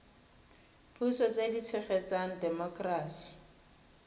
puso tse di tshegetsang temokerasi